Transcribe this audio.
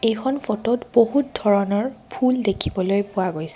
এখন ফটোত বহুত ধৰণৰ ফুল দেখিবলৈ পোৱা গৈছে।